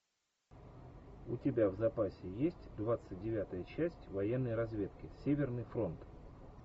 у тебя в запасе есть двадцать девятая часть военной разведки северный фронт